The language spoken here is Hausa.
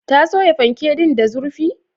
Ta soya fanke din da zurfi?